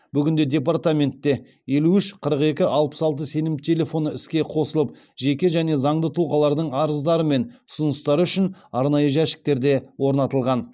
бүгінде департаментте елу үш қырық екі алпыс алты сенім телефоны іске қосылып жеке және заңды тұлғалардың арыздары мен ұсыныстары үшін арнайы жәшіктер де орнатылған